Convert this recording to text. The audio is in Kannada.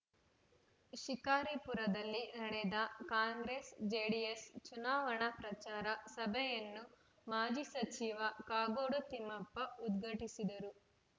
ಶಿಕಾರಿಪುರದಲ್ಲಿ ನಡೆದ ಕಾಂಗ್ರೆಸ್‌ ಜೆಡಿಎಸ್‌ ಚುನಾವಣಾ ಪ್ರಚಾರ ಸಭೆಯನ್ನು ಮಾಜಿ ಸಚಿವ ಕಾಗೋಡು ತಿಮ್ಮಪ್ಪ ಉದ್ಘಾಟಿಸಿದರು